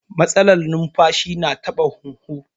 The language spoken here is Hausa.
Matsalar numfashi na taɓa huhu